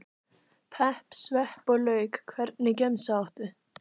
pepp, svepp og lauk Hvernig gemsa áttu?